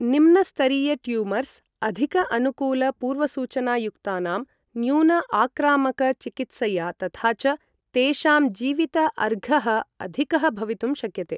निम्न स्तरीय ट्यूमर्स्, अधिक अनुकूल पूर्वसूचना युक्तानां, न्यून आक्रामक चिकित्सया, तथा च तेषां जीवित अर्घः अधिकः भवितुं शक्यते।